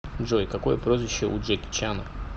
джой какое прозвище у джеки чана